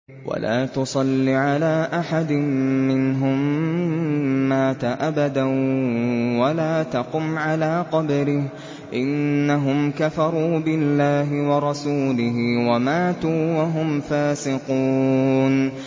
وَلَا تُصَلِّ عَلَىٰ أَحَدٍ مِّنْهُم مَّاتَ أَبَدًا وَلَا تَقُمْ عَلَىٰ قَبْرِهِ ۖ إِنَّهُمْ كَفَرُوا بِاللَّهِ وَرَسُولِهِ وَمَاتُوا وَهُمْ فَاسِقُونَ